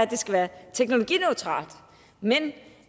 det skulle være teknologineutralt men